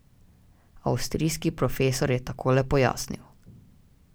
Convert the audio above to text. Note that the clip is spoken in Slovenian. Avstrijski profesor je takole pojasnil.